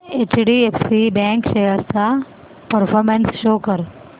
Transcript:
HDFC bank shares चा performance show कर